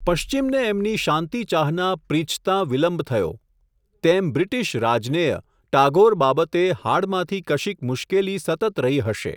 પશ્ચિમને એમની શાંતિચાહના પ્રીછતાં વિલંબ થયો, તેમ બ્રિટિશ રાજનેય ટાગોર બાબતે હાડમાંથી કશીક મુશ્કેલી સતત રહી હશે.